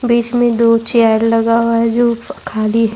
بیچ میں دو چیئر لگا ہوا ہے جو خالی ہے-